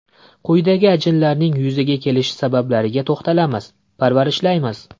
Quyida ajinlarning yuzaga kelishi sabablariga to‘xtalamiz: Parvarishlaymiz!